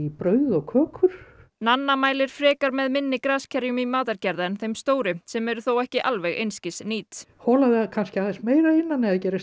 brauð og kökur Nanna mælir frekar með minni graskerjunum í matargerð en þeim stóru sem eru þó ekki alveg einskis nýt hola þau meira að innan